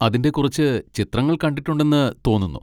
അതിൻ്റെ കുറച്ച് ചിത്രങ്ങൾ കണ്ടിട്ടുണ്ടെന്ന് തോന്നുന്നു.